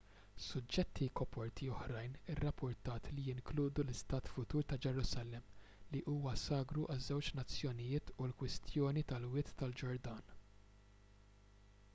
suġġetti koperti oħrajn irrappurtat li jinkludu l-istat futur ta' ġerusalemm li huwa sagru għaż-żewġ nazzjonijiet u l-kwistjoni tal-wied tal-ġordan